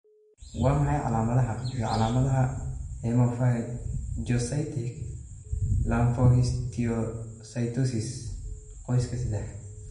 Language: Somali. Waa maxay calaamadaha iyo calaamadaha Hemophagocytic lymphohistiocytosis, qoyska, sadah?